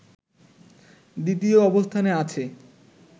দ্বিতীয় অবস্থানে আছে